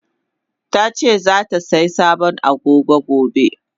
Tace zatasai sabon Agogo gobe.